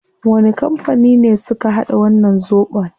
Wani kampani ne suka hada wannan zobon?